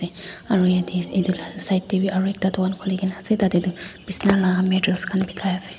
aru yetey itu la side tey bi aru ekta dukan khuli kena ase tadey tu bisna la materials khan bikai ase.